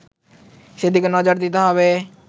সেদিকে নজর দিতে হবে